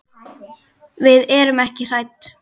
Við erum ekki hrædd.